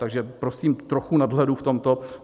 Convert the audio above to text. Takže prosím trochu nadhledu v tomto.